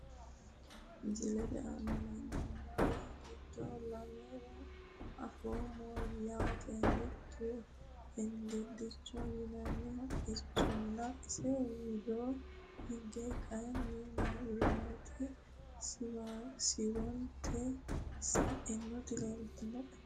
Misilete aana leelani nooeri giddo lamere afoomo yaate mitto hengedichoho yinani haqqichona isi widoo higge kayini mabirate shiwoniti sainoti leeltanoe.